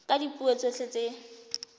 ka dipuo tsotlhe tse di